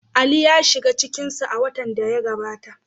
Ali ya shiga cikin su a watan da ya gabata.